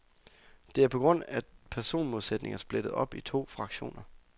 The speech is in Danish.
Det er på grund af personmodsætninger splittet op i to fraktioner.